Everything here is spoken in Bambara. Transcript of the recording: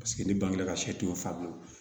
Paseke ni bange la ka sɛ ton